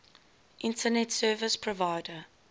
internet service provider